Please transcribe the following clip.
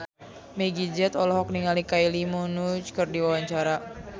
Meggie Z olohok ningali Kylie Minogue keur diwawancara